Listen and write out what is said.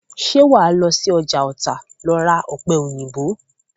Ṣé wàá lọ sí ọjà Ọ̀tà lọ ra ọ̀pẹ̀-òyìnbó?